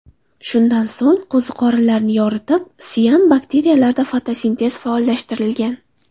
Shundan so‘ng qo‘ziqorinlarni yoritib, sian bakteriyalarda fotosintez faollashtirilgan.